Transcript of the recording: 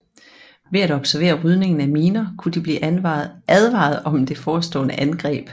Ved at observere rydningen af miner kunne de blive advaret om det forestående angreb